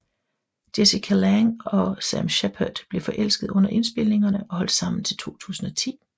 Jessica Lange og Sam Shepard blev forelskede under indspilningerne og holdt sammen til 2010